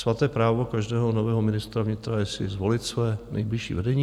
Svaté právo každého nového ministra vnitra je si zvolit své nejbližší vedení.